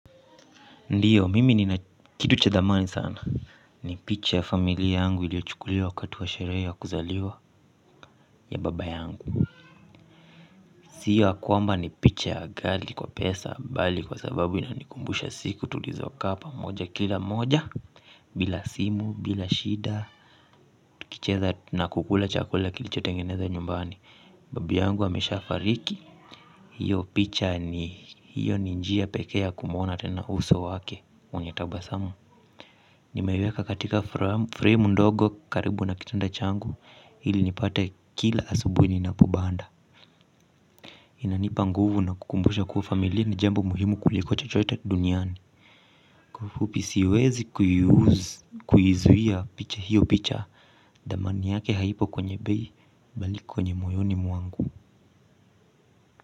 Ndiyo, mimi nina kitu cha dhamani sana. Ni picha ya familia yangu iliyo chukuliwa wakati wa sherehe ya kuzaliwa ya baba yangu. Sia kwamba ni picha ya ghali kwa pesa, bali kwa sababu inanikumbusha siku tulizokaa pamoja kila mmoja. Bila simu, bila shida. Kicheza na kukula chakula kilicho tengeneza nyumbani. Babu yangu ameshafariki. Hiyo picha ni hiyo ni njia peke ya kumwona tena uso wake wenye tabasamu. Nimeiweka katika frame ndogo karibu na kitanda changu ili nipate kila asubuhi ninapobanda. Inanipa nguvu na kukumbusha kuwa familia ni jambo muhimu kuliko chochote duniani. Kwa ufupi siwezi kuyuzi kuizuia picha hiyo picha. Dhamani yake haipo kwenye bei bali kwenye moyoni mwangu.